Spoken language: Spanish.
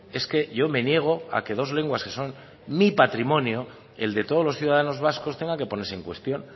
es que yo me niego a que dos lenguas que son mi patrimonio el de todos los ciudadanos vascos tenga que ponerse en cuestión